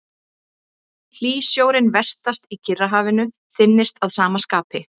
Hlýsjórinn vestast í Kyrrahafinu þynnist að sama skapi.